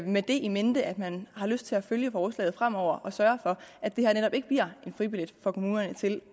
det in mente at man har lyst til at følge forslaget fremover og sørge for at det her netop ikke bliver en fribillet for kommunerne til